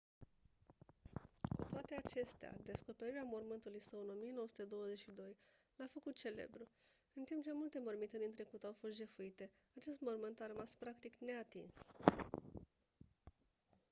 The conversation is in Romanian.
cu toate acestea descoperirea mormântului său în 1922 l-a făcut celebru în timp ce multe morminte din trecut au fost jefuite acest mormânt a rămas practic neatins